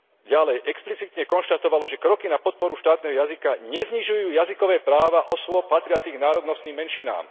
Ďalej explicitne konštatovalo, že kroky na podporu štátneho jazyka neznižujú jazykové práva osôb patriacich k národnostným menšinám.